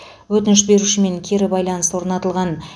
өтініш берушімен кері байланыс орнатылған